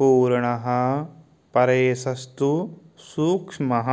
पूर्णः परेशस्तु सूक्ष्मः